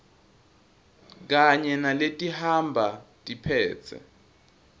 kanye naletihamba tiphetse